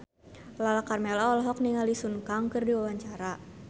Lala Karmela olohok ningali Sun Kang keur diwawancara